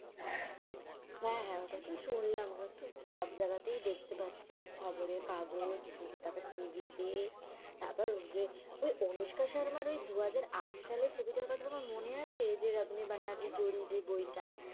হ্যাঁ হ্যাঁ ওটা তো শুনলাম ওটা সব জায়গাতেই দেখতে পাচ্ছি খবরের কাগজ তারপর TV তে, তারপর ঐযে অনুস্কা শর্মার এই দুহাজার আট সালের ছবিটার কথা মনে আছে ঐযে রাব নে বাদানি জড়ি ওই যে বই টা?